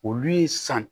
Olu ye san